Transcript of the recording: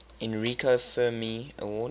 enrico fermi award